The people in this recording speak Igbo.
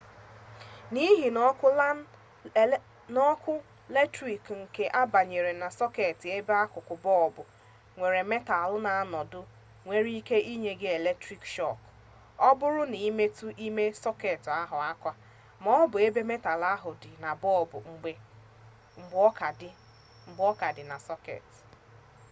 n'ihi na oku latrik nke na-abanye na soket ebe akuku bolbu nwere metal na anodu nwere ike inye gi eletrik shok o buru na imetu ime soket ahu aka ma o bu ebe metal ahu di na bolbu mgbe o ka di na soket